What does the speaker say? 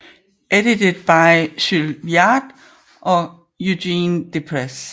Edited by Jules Viard and Eugène Déprez